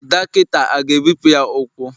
Dọkịta a ga-ebipụ ya ụkwụ?